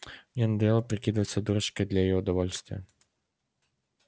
мне надоело прикидываться дурочкой для её удовольствия